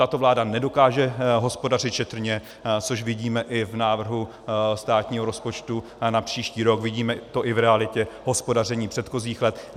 Tato vláda nedokáže hospodařit šetrně, což vidíme i v návrhu státního rozpočtu na příští rok, vidíme to i v realitě hospodaření předchozích let.